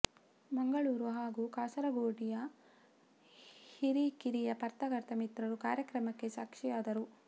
ಮಂಗಳೂರು ಹಾಗೂ ಕಾಸರಗೋಡಿಯ ಹಿರಿ ಕಿರಿಯ ಪತ್ರಕರ್ತ ಮಿತ್ರರು ಕಾರ್ಯಕ್ರಮಕ್ಕೆ ಸಾಕ್ಷಿಯಾದರು